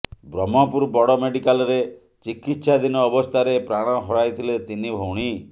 ବ୍ରହ୍ମପୁର ବଡ଼ ମେଡିକାଲରେ ଚିକିତ୍ସାଧୀନ ଅବସ୍ଥାରେ ପ୍ରାଣ ହରାଇଥିଲେ ତିନି ଭଉଣୀ